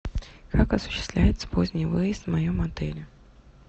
как осуществляется поздний выезд в моем отеле